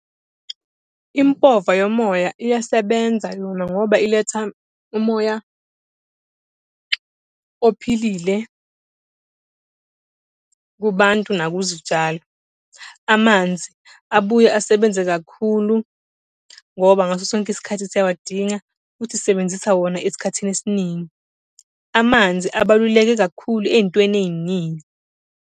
Impova yomoya iyasebenza yona ngoba iletha umoya ophilile kubantu naku zitshalo. Amanzi abuye asebenze kakhulu ngoba ngaso sonke isikhathi siyawadinga, futhi sisebenzisa wona esikhathini esiningi. Amanzi abaluleke kakhulu ey'ntweni ey'ningi.